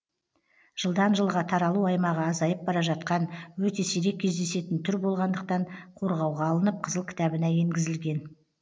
жылдан жылға таралу аймағы азайып бара жатқан өте сирек кездесетін түр болғандықтан қорғауға алынып қызыл кітабына енгізілген